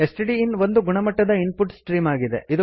stdin ಒಂದು ಗುಣಮಟ್ಟದ input stream ಆಗಿದೆ